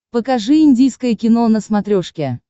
покажи индийское кино на смотрешке